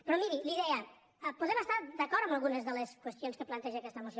però miri li deia podem estar d’acord en algunes de les qüestions que planteja aquesta moció